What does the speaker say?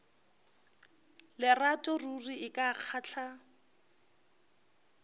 lerato ruri e ka kgahla